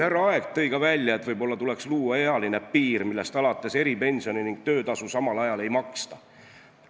Härra Aeg ütles, et võib-olla tuleks luua ealine piir, millest alates eripensioni ja töötasu samal ajal ei maksta.